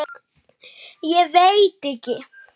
Ég veit ekki?